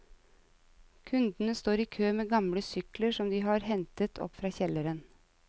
Kundene står i kø med gamle sykler som de har hentet opp fra kjelleren.